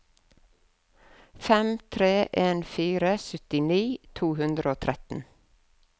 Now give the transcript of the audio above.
fem tre en fire syttini to hundre og tretten